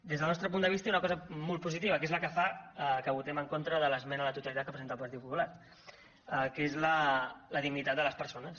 des del nostre punt de vista hi ha una cosa molt positiva que és la que fa que votem en contra de l’esmena a la totalitat que presenta el partit popular que és la dignitat de les persones